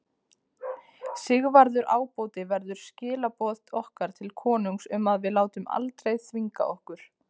Sigvarður ábóti verður skilaboð okkar til konungs um að við látum aldrei þvinga okkur.